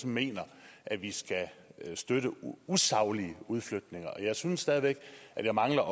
mener at vi skal støtte usaglige udflytninger jeg synes stadig væk at jeg mangler